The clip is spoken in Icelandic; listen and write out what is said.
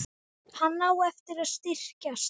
Hann á eftir að styrkjast.